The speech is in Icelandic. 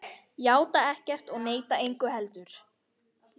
Játa ekkert og neita engu heldur.